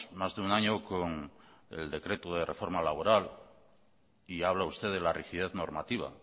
más de un año con el decreto de reforma laboral y habla usted de la rigidez normativa